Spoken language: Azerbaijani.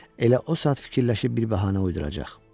Elə o saat fikirləşib bir bəhanə uyduracaq.